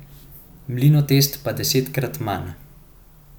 Mlinotest pa desetkrat manj.